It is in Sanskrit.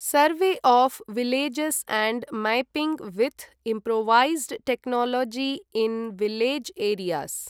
सर्वे of villages and mapping with improvised technology in village areas